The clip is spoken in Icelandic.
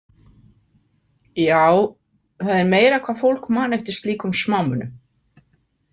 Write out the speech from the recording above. Já, það er meira hvað fólk man eftir slíkum smámunum.